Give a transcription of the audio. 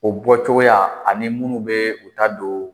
O bɔcogoya ani minnu bɛ u ta don